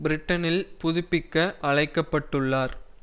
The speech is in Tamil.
பிரிட்டனில் புதுப்பிக்க அழைக்கப்பட்டுள்ளார்